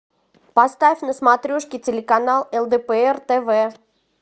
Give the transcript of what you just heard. поставь на смотрешке телеканал лдпр тв